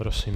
Prosím.